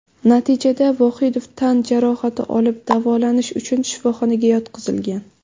Natijada Vohidov tan jarohati olib, davolanish uchun shifoxonaga yotqizilgan.